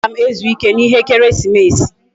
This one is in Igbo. Agam ezu ike na ihe ekeresimesi